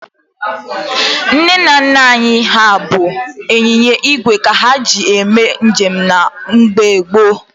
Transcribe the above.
Ndị nna nna anyị ha bụ ịnyịnya igwe ka ha ji eme njem na mgbe gboo.